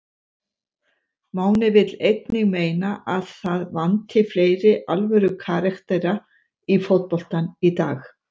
Máni vill einnig meina að það vanti fleiri alvöru karaktera í fótboltann í dag.